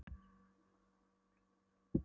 Síðan hvenær hefur þú áhuga á flugmódelum?